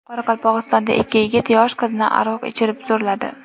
Qoraqalpog‘istonda ikki yigit yosh qizni aroq ichirib zo‘rladi.